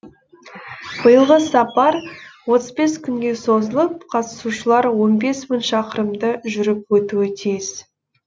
биылғы сапар отыз бес күнге созылып қатысушылар он бес мың шақырымды жүріп өтуі тиіс